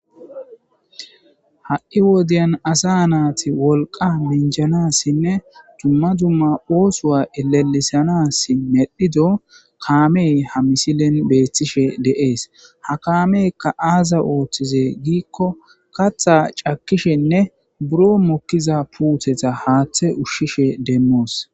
Ha'i wodyan asa naati wolqa minjanassinne dumma dumma oosoa elalisanas medhido kaamey ha misilen beethtishe de7ees ha kaameykka aaza ooththize giikko katha cakishenne buro mokkiza puutetha haaththe ushshishe demmoos.